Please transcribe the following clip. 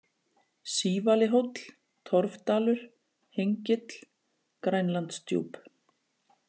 Sívalihóll, Torfdalur, Hengill, Grænlandsdjúp